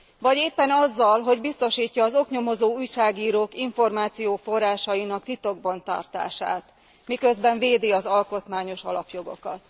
Vagy éppen azzal, hogy biztosítja az oknyomozó újságírók információforrásainak titokban tartását, miközben védi az alkotmányos alapjogokat.